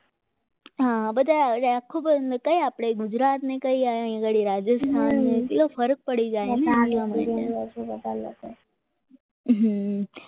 આ બધામાં આપણા ગુજરાતને કંઈ આગળ રાજસ્થાનને બધુ ફરક પડી જાય ને હા